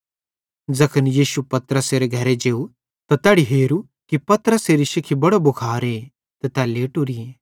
ज़ैखन यीशु पतरसेरे घरे जेव त तैनी हेरू कि पतरसेरी शिखी बड़ो भुखारे ते तै लेटोरी थी